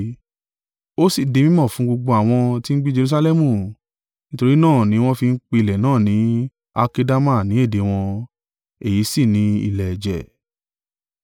Ó si di mí mọ̀ fún gbogbo àwọn ti ń gbé Jerusalẹmu; nítorí náà ni wọ́n fi ń pè ilẹ̀ náà ni Alkedama ní èdè wọn, èyí sì ni, Ilẹ̀ Ẹ̀jẹ̀.)